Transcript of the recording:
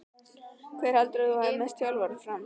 Hver heldur þú að verði næsti þjálfari FRAM?